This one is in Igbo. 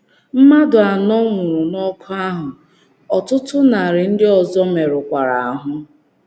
Mmadụ anọ nwụrụ n’ọkụ ahụ, ọtụtụ narị ndị ọzọ merụkwara ahụ́.